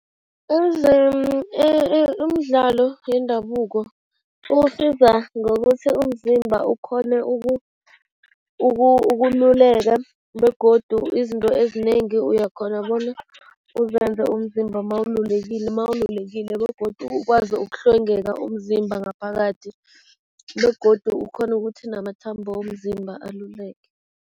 Umdlalo yendabuko usiza ngokuthi umzimba ukghone ukululeka begodu izinto ezinengi uyakghona bona uzenze umzimba mawululekile begodu ukwazi ukuhlwengeka umzimba ngaphakathi begodu ukghone ukuthi namathambo womzimba aluleke.